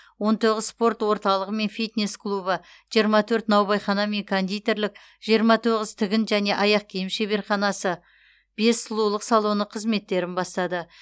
он тоғыз спорт орталығы мен фитнес клубы жиырма төрт наубайхана мен кондитерлік жиырма тоғыз тігін және аяқ киім шебарханасы бес сұлулық салоны қызметтерін бастады